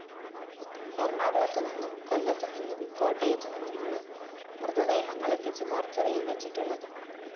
എറണാകുളത്തുനിന്നും കൊല്ലത്തുനിന്നും കോട്ടയത്തുനിന്നുമാണ് മൃതദേഹങ്ങള്‍ എത്തിച്ച് മോര്‍ച്ചറിയില്‍ വച്ചിട്ടുള്ളത്